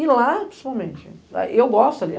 E lá, principalmente, eu gosto ali.